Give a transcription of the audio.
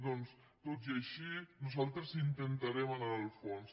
doncs tot i així nosaltres intentarem anar al fons